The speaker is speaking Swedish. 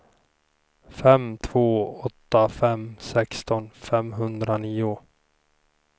fem två åtta fem sexton femhundranio